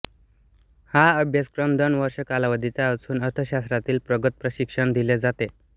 हा अभ्यासक्रम दोन वर्षे कालावधीचा असून अर्थशास्त्रातील प्रगत प्रशिक्षण दिले जाते